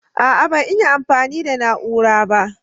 ah ah ban iya amfani da na'ura ba